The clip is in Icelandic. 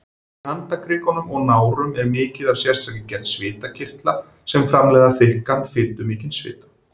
Í handarkrikum og nárum er mikið af sérstakri gerð svitakirtla sem framleiða þykkan, fitumikinn svita.